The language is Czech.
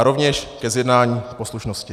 A rovněž ke zjednání poslušnosti.